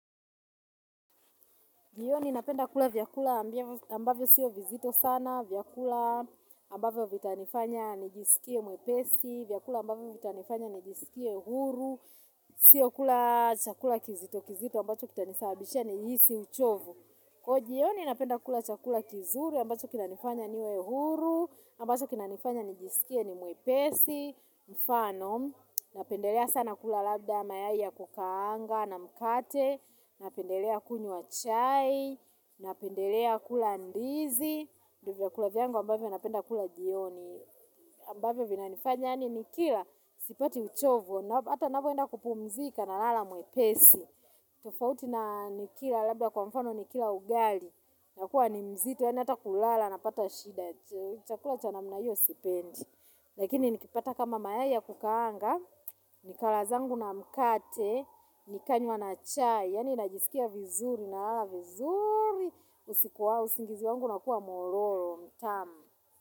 Jioni napenda kula vyakula ambavyo siyo vizito sana, vyakula ambavyo vitanifanya nijisikie mwepesi, vyakula ambavyo vitanifanya nijisikie huru, siyo kula chakula kizito kizito ambacho kitanisabishia nijihisi uchovu. Kwaiyo jioni napenda kula chakula kizuri, ambacho kinanifanya niwe huru, ambacho kinanifanya nijisikie ni mwepesi, mfano, napendelea sana kula labda mayai ya kukaanga na mkate, napendelea kunywa chai, napendelea kula ndizi, ndo vyakula vyango ambavyo napenda kula jioni, ambavyo vinanifanya yani nikila, sipati uchovu, hata napoenda kupumzika nalala mwepesi. Tufauti na nikila labda kwa mfano nikila ugali, nakuwa ni mzito yani hata kulala napata shida. Chakula cha namna hiyo sipendi. Lakini nikipata kama mayai ya kukaanga nikala zangu na mkate, nikanywa na chai yani najisikia vizuri na lala vizuri. Usiku wa usingizi wangu unakua mororo mtamu.